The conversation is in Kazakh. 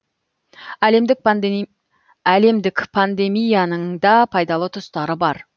әлемдік пандемияның да пайдалы тұстары бар